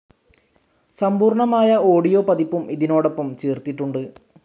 സമ്പൂർണ്ണമായ audio പതിപ്പും ഇതിനോടൊപ്പം ചേർത്തിട്ടുണ്ട്.